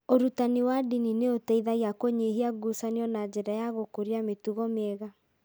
Ũrutani wa ndini nĩ ũteithagia kũnyihia ngucanio na njĩra ya gũkũria mĩtugo mĩega.